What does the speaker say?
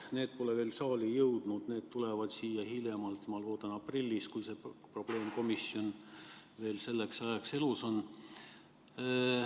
Need pole veel saali jõudnud, need tulevad siia hiljemalt, ma loodan, aprillis, kui see probleemkomisjon veel selleks ajaks elus on.